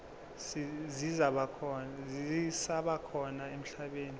zisaba khona emhlabeni